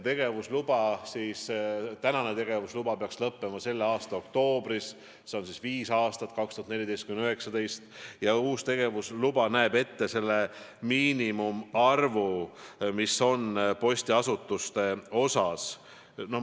Praegune tegevusluba peaks lõppema selle aasta oktoobris, selle kehtivusaeg on viis aastat, 2014–2019, ja uus tegevusluba näeb ette uue postiasutuste miinimumarvu.